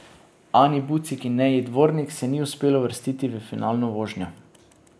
Ani Bucik in Neji Dvornik se ni uspelo uvrstiti v finalno vožnjo.